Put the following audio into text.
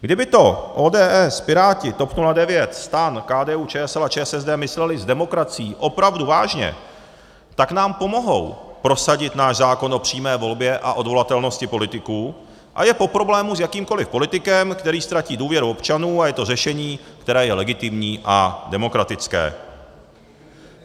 Kdyby to ODS, Piráti, TOP 09, STAN, KDU-ČSL a ČSSD mysleli s demokracií opravdu vážně, tak nám pomohou prosadit náš zákon o přímé volbě a odvolatelnosti politiků a je po problému s jakýmkoliv politikem, který ztratí důvěru občanů, a je to řešení, které je legitimní a demokratické.